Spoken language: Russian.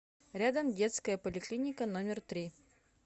рядом детская поликлиника номер три